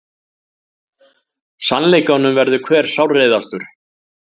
Sannleikanum verður hver sárreiðastur.